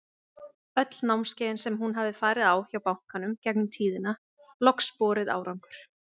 Öll námskeiðin sem hún hafi farið á hjá bankanum gegnum tíðina, loks borið árangur.